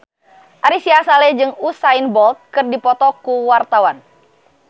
Ari Sihasale jeung Usain Bolt keur dipoto ku wartawan